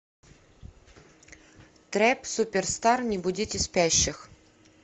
трэп суперстар не будите спящих